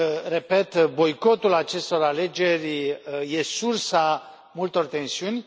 Repet, boicotul acestor alegeri e sursa multor tensiuni.